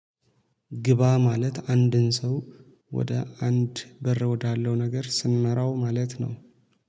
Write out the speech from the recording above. ግባ ማለት አንድን ሰው ወደ አንድ በር ወዳለው ነገር ስንመራው ማለት ነው